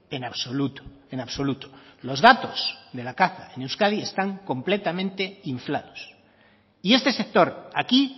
en absoluto en absoluto los datos de la caza en euskadi están completamente inflados y este sector aquí